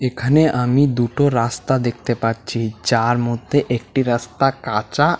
এখানে আমি দুটো রাস্তা দেখতে পাচ্ছি যার মধ্যে একটি রাস্তা কাঁচা।